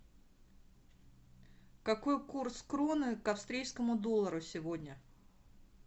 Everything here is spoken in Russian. какой курс кроны к австрийскому доллару сегодня